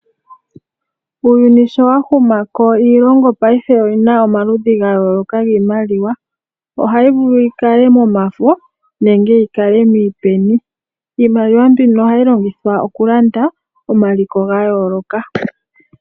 Uuyuni sho wahumako iilongo paife oyina omaludhi gayooloka giimaliwa. Ohayi vulu yikale momafo nenge yikale miipeni, iimaliwa mbino ohayi longithwa okulanda omaliko gayooloka.